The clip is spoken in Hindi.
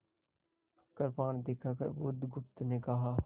कृपाण दिखाकर बुधगुप्त ने कहा